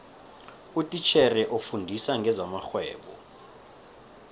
utitjhere ofundisa ngezamarhwebo